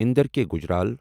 Inder K Gujral